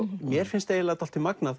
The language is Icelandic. mér finnst dálítið magnað